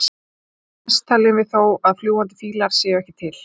flest teljum við þó að fljúgandi fílar séu ekki til